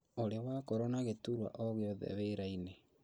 ũrĩ wakorwo na gĩturwa o gĩothe wĩra-inĩ